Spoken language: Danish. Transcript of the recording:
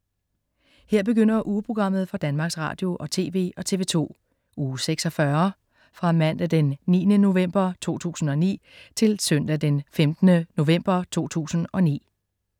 Her begynder ugeprogrammet for Danmarks Radio- og TV og TV2 Uge 46 Fra Mandag den 9. november 2009 Til Søndag den 15. november 2009